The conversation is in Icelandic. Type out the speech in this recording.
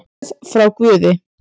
Gjöf frá guði